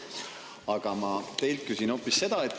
Aga ma küsin hoopis seda.